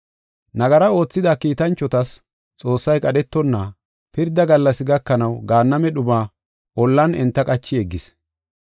Nagara oothida kiitanchotas Xoossay qadhetonna, pirda gallas gakanaw gaanname dhuma ollan enta qachi yeggis.